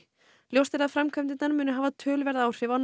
ljóst er að framkvæmdirnar munu hafa töluverð áhrif á